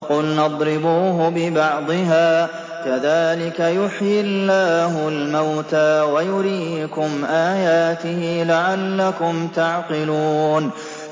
فَقُلْنَا اضْرِبُوهُ بِبَعْضِهَا ۚ كَذَٰلِكَ يُحْيِي اللَّهُ الْمَوْتَىٰ وَيُرِيكُمْ آيَاتِهِ لَعَلَّكُمْ تَعْقِلُونَ